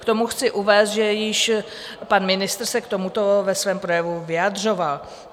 K tomu chci uvést, že již pan ministr se k tomuto ve svém projevu vyjadřoval.